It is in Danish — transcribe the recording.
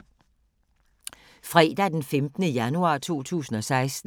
Fredag d. 15. januar 2016